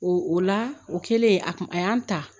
O la o kɛlen a kun a y'an ta